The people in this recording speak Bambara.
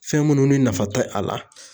Fɛn munnu ni nafa tɛ a la.